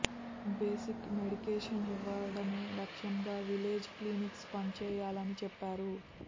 basic medication ఇవ్వడమే లక్ష్యంగా village clinics పని చేయాలని చెప్పారు